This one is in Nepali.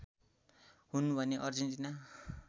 हुन् भने अर्जेन्टिना